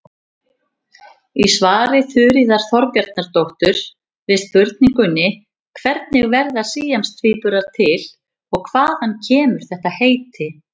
Í svari Þuríðar Þorbjarnardóttur við spurningunni Hvernig verða síamstvíburar til og hvaðan kemur þetta heiti?